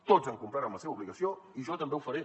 tots han complert amb la seva obligació i jo també ho faré